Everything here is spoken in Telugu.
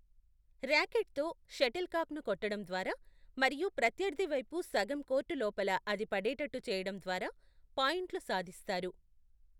ర్యాకెట్తో షటిల్ కాక్ను కొట్టడం ద్వారా మరియు ప్రత్యర్థి వైపు సగం కోర్టు లోపల అది పడేటట్టు చేయడం ద్వారా పాయింట్లు సాధిస్తారు.